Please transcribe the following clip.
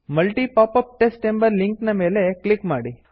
multi popup test ಎಂಬ link ನ ಮೇಲೆ ಕ್ಲಿಕ್ ಮಾಡಿ